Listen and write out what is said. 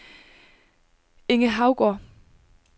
Inge Haugaard